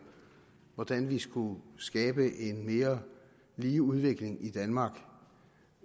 hvordan vi skulle skabe en mere lige udvikling i danmark